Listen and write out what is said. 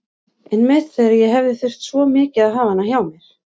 Einmitt þegar ég hefði þurft svo mikið að hafa hana hjá mér.